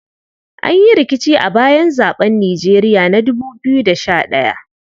An yi rikici a bayan zaɓen Nijeriya na 2011.